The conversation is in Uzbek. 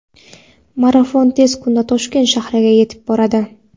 marafon tez kunda Toshkent shahriga yetib boradi.